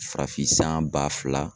Farafin san ba fila